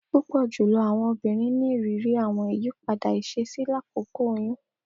Pupọ julọ awọn obinrin ni iriri awọn iyipada iṣesi lakoko oyun